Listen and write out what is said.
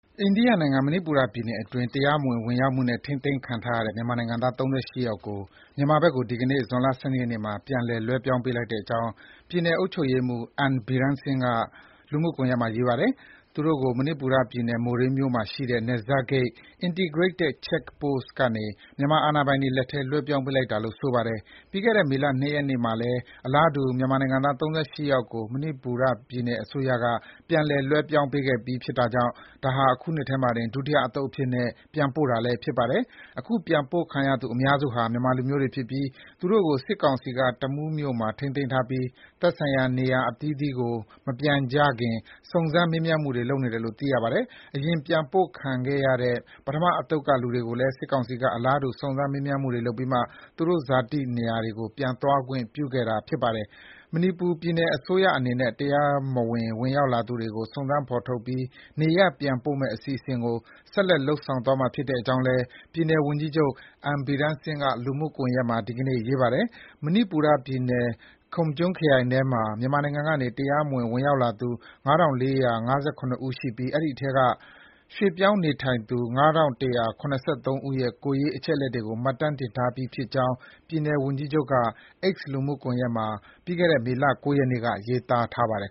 အိန္ဒိယနိုင်ငံ၊ မဏိပူရပြည်နယ်အတွင်း တရားမဝင် ဝင်ရောက်မှုနဲ့ ထိန်းသိမ်းခံထားရတဲ့ မြန်မာနိုင်ငံသား ၃၈ ယောက်ကို မြန်မာဘက်ကို ဒီကနေ့ ဇွန်လ ၁၂ ရက်နေ့မှာ ပြန်လည် လွဲပြောင်းပေးလိုက်ကြောင်း ပြည်နယ် အုပ်ချုပ်ရေးမှူး N. Biren Singh က လူမှုကွန်ယက်မှာ ရေးပါတယ်။ သူတို့ကို မဏိပူရပြည်နယ်၊ မိုရေးမှာရှိတဲ့ နယ်စပ်ဂိတ် Integrated Check Post (ICP) ကနေ မြန်မာ အာဏာပိုင်တွေလက်ထဲ လွှဲပြောင်းပေးလိုက်တာလို့ ဆိုပါတယ်။ ပြီးခဲ့တဲ့ မေလ ၂ ရက်နေ့မှာလည်း အလားတူ မြန်မာနိုင်ငံသား ၃၈ ယောက်ကို မဏိပူရ ပြည်နယ်အစိုးရက ပြန်လည် လွှဲပြောင်းပေးခဲ့ပြီး ဖြစ်တာကြောင့် ဒါဟာ အခုနှစ်ထဲမှာတင် ဒုတိယအသုတ်အဖြစ်နဲ့ ပြန်ပို့တာလည်း ဖြစ်ပါတယ်။ အခုပြန်ပို့ခံရသူအများစုဟာ မြန်မာလူမျိုးတွေဖြစ်ပြီး သူတို့ကို စစ်ကောင်စီက တမူးမြို့မှာ ထိန်းသိမ်းထားပြီး သက်ဆိုင်ရာ နေရပ်အသီးသီးကို မပြန်ကြခင် စုံစမ်း မေးမြန်းမှုတွေ ပြုလုပ်နေတယ်လို့ သိရပါတယ်။ အရင် ပြန်ပို့ခံခဲ့ရတဲ့ ပထမအသုတ်ကလူတွေကိုလည်း စစ်ကောင်စီက အလားတူ စုံစမ်း မေးမြန်းမှုတွေ ပြုလုပ်ပြီးမှ သူတို့ ဇာတိတွေကို ပြန်သွားခွင့်ပြုခဲ့တာပါ။ မဏိပူရပြည်နယ်အစိုးရအနေနဲ့ တရားမဝင် ဝင်ရောက်လာသူတွေကို စုံစမ်း ဖော်ထုတ်ပြီး နေရပ်ပြန်ပို့မယ့်အစီအစဉ်ကို ဆက်လက် လုပ်ဆောင်သွားမှာဖြစ်ကြောင်း ပြည်နယ်ဝန်ကြီးချုပ် N. Biren Singh က လူမှုကွန်ယက်မှာ ဒီကနေ့ ရေးထားပါတယ်။ မဏိပူရ ပြည်နယ်၊ Kamjong ခရိုင်ထဲမှာ မြန်မာနိုင်ငံကနေ တရားမဝင် ဝင်ရောက်လာသူ ၅,၄၅၇ ဦး ရှိပြီး အဲဒီထဲက ရွှေ့ပြောင်းနေထိုင်သူ ၅,၁၇၃ ဦးရဲ့ ကိုယ်ရေး အချက်အလက်တွေကို မှတ်တမ်းတင်ထားပြီးဖြစ်ကြောင်း ပြည်နယ် ဝန်ကြီးချုပ်က လူမှုကွန်ယက်မှာ မေလ ၉ ရက်နေ့က ရေးသားထားပါတယ်